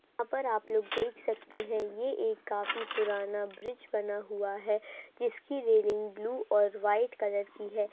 यहाँ पर आप लोग देख सकते हैं ये एक काफी पुराना ब्रिज बना हुआ है जिसकी रेलिंग ब्लू और वाईट कलर की है।